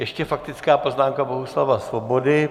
Ještě faktická poznámka Bohuslava Svobody.